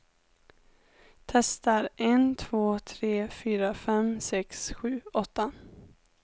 Testar en två tre fyra fem sex sju åtta.